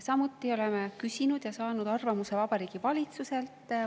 Samuti oleme küsinud ja saanud arvamuse Vabariigi Valitsuselt.